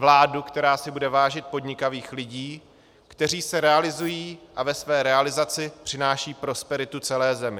Vládu, která si bude vážit podnikavých lidí, kteří se realizují a ve své realizaci přinášejí prosperitu celé zemi.